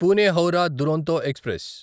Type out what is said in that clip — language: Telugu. పూణే హౌరా దురోంతో ఎక్స్ప్రెస్